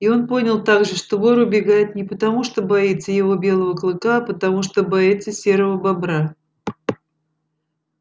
и он понял также что вор убегает не потому что боится его белого клыка а потому что боится серого бобра